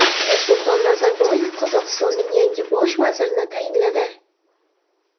Nursulton Nazarboyev Qozog‘istonning yangi bosh vazirini tayinladi.